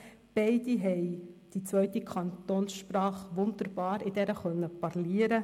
Beide können in der zweiten Kantonssprache wunderbar parlieren.